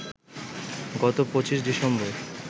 গত ২৫ ডিসেম্বর